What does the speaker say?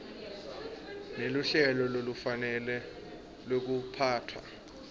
neluhlelo lolufanele lwekuphatfwa